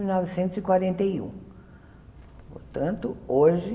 novecentos e quarenta e um Portanto, hoje